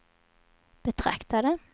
betraktade